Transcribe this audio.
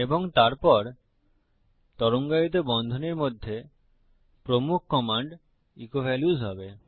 এবং তারপর তরঙ্গায়িত বন্ধনীর মধ্যে প্রমুখ কমান্ড ইকো ভ্যাল্যুস হবে